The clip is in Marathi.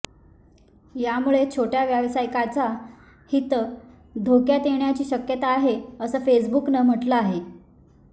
यामुळे छोट्या व्यावसायिकांचं हित धोक्यात येण्याची शक्यता आहे असं फेसबुकनं म्हटलं आहे